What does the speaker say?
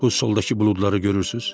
Bu soldakı buludları görürsüz?